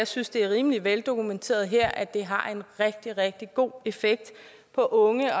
synes det er rimelig veldokumenteret her at det har en rigtig rigtig god effekt på unge og